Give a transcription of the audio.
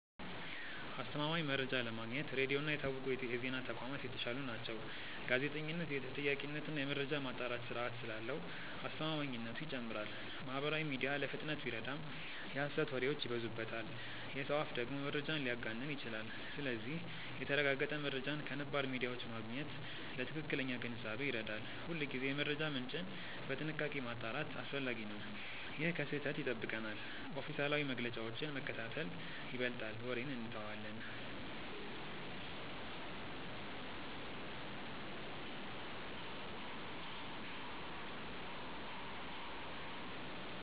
አስተማማኝ መረጃ ለማግኘት ሬዲዮ እና የታወቁ የዜና ተቋማት የተሻሉ ናቸው። ጋዜጠኝነት የተጠያቂነት እና የመረጃ ማጣራት ስርዓት ስላለው አስተማማኝነቱ ይጨምራል። ማህበራዊ ሚዲያ ለፍጥነት ቢረዳም የሐሰት ወሬዎች ይበዙበታል። የሰው አፍ ደግሞ መረጃን ሊያጋንን ይችላል። ስለዚህ የተረጋገጠ መረጃን ከነባር ሚዲያዎች ማግኘት ለትክክለኛ ግንዛቤ ይረዳል። ሁልጊዜ የመረጃ ምንጭን በጥንቃቄ ማጣራት አስፈላጊ ነው። ይህ ከስህተት ይጠብቀናል። ኦፊሴላዊ መግለጫዎችን መከታተል ይበልጣል ወሬን እንተዋለን።